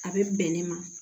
A bɛ bɛn ne ma